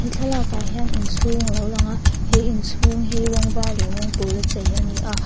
he thlalak ah hian inchhung alo langa he inchhung hi rawng var leh rawng pawla chei ania--